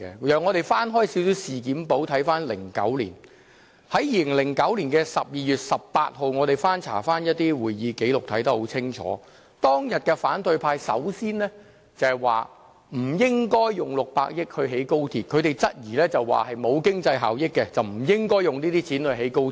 讓我們翻開事件簿看看2009年，在2009年12月18日，我們翻查一些會議紀錄，我們清楚看到，反對派當天首先說不應用600億元興建高鐵，他們質疑沒有經濟效益，不應用這些錢興建高鐵。